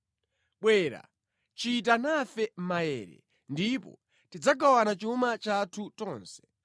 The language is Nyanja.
Bwera, chita nafe maere, ndipo tidzagawana chuma chathu tonse.”